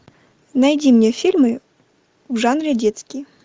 найди мне фильмы в жанре детский